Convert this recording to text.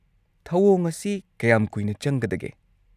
-ꯊꯧꯑꯣꯡ ꯑꯁꯤ ꯀꯌꯥꯝ ꯀꯨꯏꯅ ꯆꯪꯒꯗꯒꯦ?